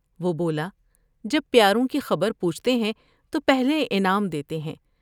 وہ بولا جب پیاروں کی خبر پوچھتے ہیں تو پہلے انعام دیتے ہیں ۔